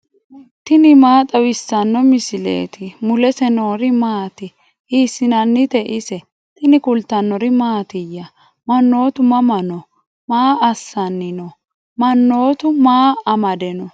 tini maa xawissanno misileeti ? mulese noori maati ? hiissinannite ise ? tini kultannori mattiya? Mannoottu mama noo? Maa assanni noo? Mannoottu maa amade noo?